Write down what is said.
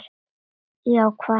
Já, hvað segið þér?